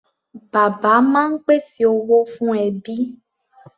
Bàbá máa ń pèsè owó fún ẹbí.